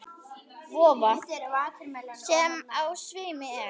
Vofa, sem á sveimi er.